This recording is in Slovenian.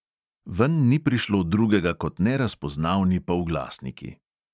Ven ni prišlo drugega kot nerazpoznavni polglasniki.